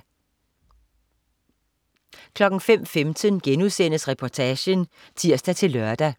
05.15 Reportagen* (tirs-lør)